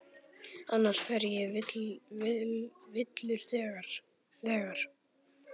Annars fer ég villur vegar.